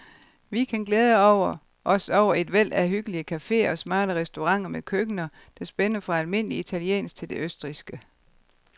Vi kan glæde os over et væld af hyggelige caféer og smarte restauranter med køkkener, der spænder fra almindelig italiensk til det østrigske.